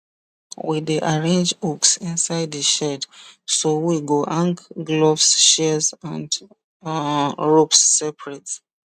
we dey arrange hooks inside the shed so we go hang gloves shears and um ropes separate